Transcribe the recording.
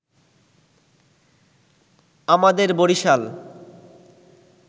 আমাদের বরিশাল